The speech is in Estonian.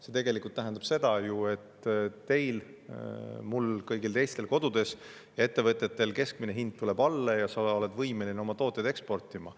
See tegelikult tähendab seda ju, et teil, mul, kõigil teistel kodudes ja ettevõtjatel keskmine hind tuleb alla ja ettevõtjad on võimelised oma tooteid eksportima.